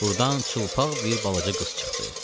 Burdan çılpaq bir balaca qız çıxdı.